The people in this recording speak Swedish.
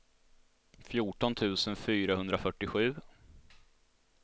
fjorton tusen fyrahundrafyrtiosju